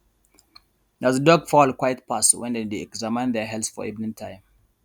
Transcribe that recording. na the duck fowl quiet pass when dem dey examine their health for evening time